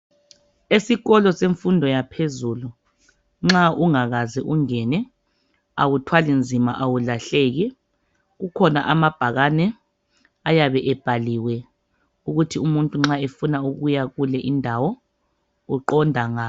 Esikolo semfundo yaphezulu nxa ungakaze ungene awuthwali nzima awulahleki kukhona amabhakane ayabe ebhaliwe ukuthi umuntu nxa efuna ukuya kule indawo uqonda ngaphi